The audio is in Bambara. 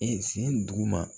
E sen duguma